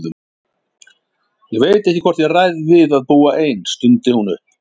Ég veit ekki hvort ég ræð við að búa ein, stundi hún upp.